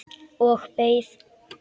Og beið.